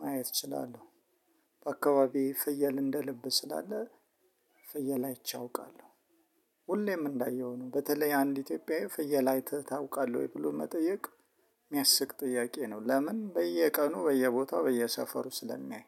ማየት እችላለሁ። በአካባቢ ፍየል እንደ ልብ ስላለ ፍየል አይቼ አውቃለሁ። ሁሌም እንዳየሁ ነው በተለይ አንድ ኢትዮጵያዬ ፍየል አይተህ ታውቃለህ ወይ ብሎ መጠየቅ የሚያስቅ ጥያቄ ነው ለምን በየቀኑ በየቦታው በየሰፈሩ ስለሚያይ